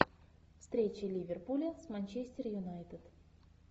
встреча ливерпуля с манчестер юнайтед